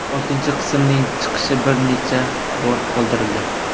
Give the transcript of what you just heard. Oltinchi qismning chiqishi bir necha bor qoldirildi.